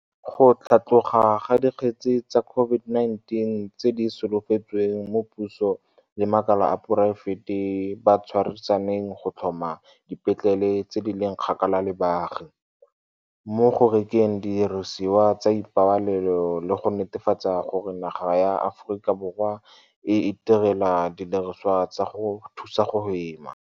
go tlhatloga ga dikgetse tsa COVID-19 tse di solofetsweng mo puso le makala a poraefete ba tshwarisaneng go tlhoma dipetlele tse di leng kgakala le baagi, mo go rekeng didirisiwa tsa ipabalelo le go netefatsa gore naga ya Aforika Borwa e itirela didirisiwa tsa go thusa go hema.